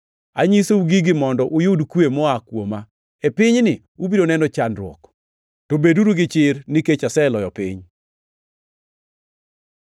“Asenyisou gigi mondo uyud kwe moa kuoma. E pinyni ubiro neno chandruok, to beduru gi chir nikech aseloyo piny.”